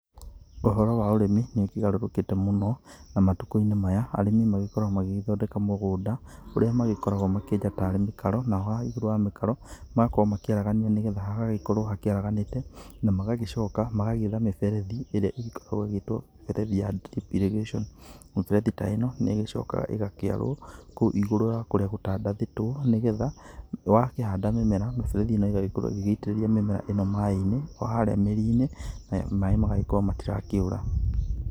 Ũhoro waũrĩmi nĩ ũkĩgarũrũkĩte mũno na matukũ-inĩ maya arĩmi makoragwo magĩgĩthondeka mũgũnda. Ũrĩa makoragwo makĩenja tarĩ mĩtaro naho haha igũrũ wa mĩtaro magagĩkorwo makĩaragania nĩ getha hagagĩkorwo hakĩaraganĩte na magagĩcoka magetha mĩberethi ĩrĩa ĩgĩkoragwo ĩgĩtwo mĩberethi ya drip irrigation. Mĩberethi ta ĩno nĩ ĩgĩcokaga ĩgakĩarwo kũu igũrũ wa kũrĩa gũtandathĩtwo nĩ getha wakĩhandamĩmera mĩberethi ĩno ĩgagĩkorwo, ĩgĩitĩrĩria mĩmera ĩno maaĩ-inĩ o harĩa mĩri-inĩ na maaĩ magagĩkorwo matirakĩũra.